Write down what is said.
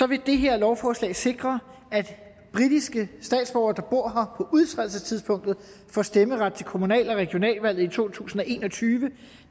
vil det her lovforslag sikre at britiske statsborgere udtrædelsestidspunktet får stemmeret til kommunal og regionalvalget i to tusind og en og tyve